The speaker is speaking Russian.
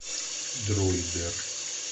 дроидер